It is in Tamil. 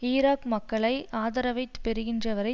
ஈராக் மக்களை ஆதரவை பெறுகின்றவரை